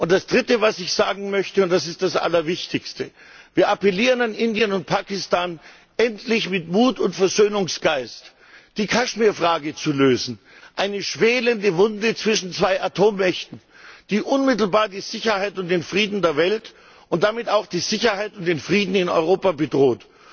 Das Dritte, das ich sagen möchte, ist das Allerwichtigste Wir appellieren an Indien und an Pakistan, endlich mit Mut und Versöhnungsgeist die Kaschmirfrage zu lösen eine schwelende Wunde zwischen zwei Atommächten, die unmittelbar die Sicherheit und den Frieden der Welt und damit auch die Sicherheit und den Frieden in Europa bedroht.